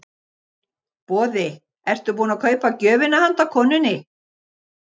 Boði: Ertu búinn að kaupa gjöfina handa konunni?